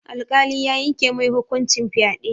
Alƙali ya yanke mai hukuncin fyaɗe.